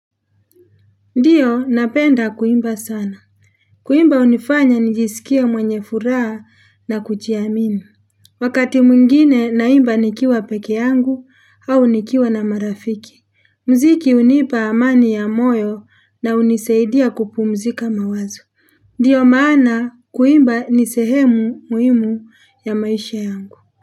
Ndiyo napenda kuimba sana. Kuimba hunifanya nijisikie mwenye furaha na kujiamini. Wakati mwingine naimba nikiwa peke yangu au nikiwa na marafiki. Mziki hunipa amani ya moyo na hunisaidia kupumzika mawazo. Ndio maana kuimba ni sehemu muhimu ya maisha yangu.